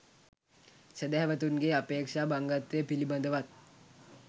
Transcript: සැදැහැවතුන්ගේ අපේක්‍ෂා භංගත්වය පිළිබඳවත්